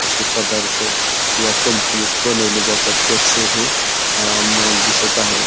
असे पदार्थ या कंपनीत बनवले जातात त्याचं हे अ मॉल दिसत आहे.